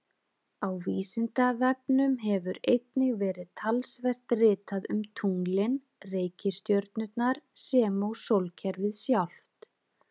Á Vísindavefnum hefur einnig verið talsvert ritað um tunglin, reikistjörnurnar sem og sólkerfið sjálft.